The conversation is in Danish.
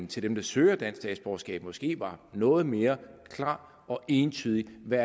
til dem der søger dansk statsborgerskab måske var noget mere klar og entydig med